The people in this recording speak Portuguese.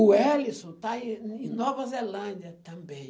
O Ellison está em em Nova Zelândia também.